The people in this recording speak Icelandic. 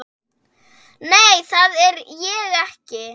Nei, það er ég ekki.